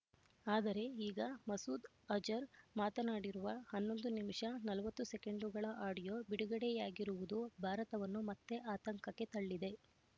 ಆದರೆ ಈಗ ಮಸೂದ್ ಅಜರ್ ಮಾತನಾಡಿರುವ ಹನ್ನೊಂದು ನಿಮಿಷ ನಲವತ್ತು ಸೆಕೆಂಡುಗಳ ಆಡಿಯೋ ಬಿಡುಗಡೆಯಾಗಿರುವುದು ಭಾರತವನ್ನು ಮತ್ತೆ ಆತಂಕಕ್ಕೆ ತಳ್ಳಿದೆ